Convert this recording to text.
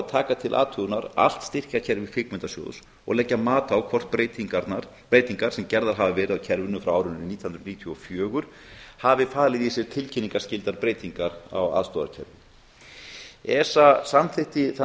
taka til athugunar allt styrkjakerfi kvikmyndasjóðs og leggja mat á hvort breytingar sem gerðar hafa verið á kerfinu frá árinu nítján hundruð níutíu og fjögur hafi falið í sér tilkynningarskyldar breytingar á aðstoðarkerfi esa samþykkti þann